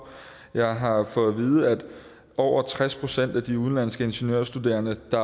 jeg har fået at vide at over tres procent af de udenlandske ingeniørstuderende der